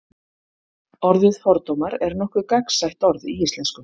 orðið fordómar er nokkuð gagnsætt orð í íslensku